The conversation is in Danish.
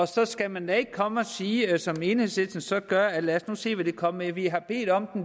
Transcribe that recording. så skal man da ikke komme og sige som enhedslisten så gør lad os nu se hvad de kommer med vi har bedt om